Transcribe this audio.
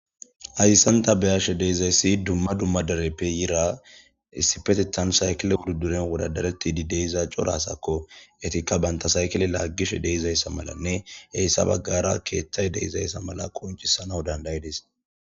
Hassan ta beyashe de'izayssi dumma dumma dereppe yira issipetetan saykile wudiriyan wodadaretti di de'iza cora asakko etikka banta saykile laaggishe de'izayssa malanne heyssa baggara keeththay de'izayssa mala koncisana dandayidis